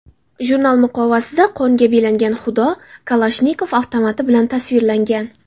Jurnal muqovasida qonga belangan xudo Kalashnikov avtomati bilan tasvirlangan.